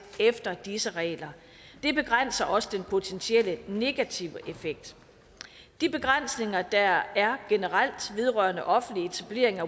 efter disse regler det begrænser også den potentielle negative effekt de begrænsninger der er generelt vedrørende offentlig etableringen af